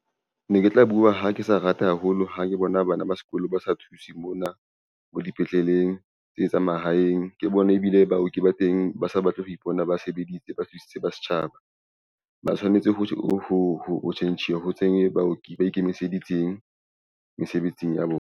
Ne ke tla bua ha ke sa rata haholo ha ke bona bana ba sekolo ba sa thuse mona mo dipetleleng tse tsa mahaeng ke bona ebile baoki ba teng ba sa batle ho ipona ba sebeditse ba thusitse ba setjhaba ba tshwanetse ho tjhentjhiwa ho tsene baoki ba ikemiseditseng mesebetsing ya bona.